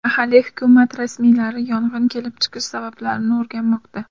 Mahalliy hukumat rasmiylari yong‘in kelib chiqishi sabablarini o‘rganmoqda.